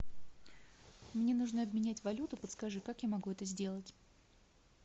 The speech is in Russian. мне нужно обменять валюту подскажи как я могу это сделать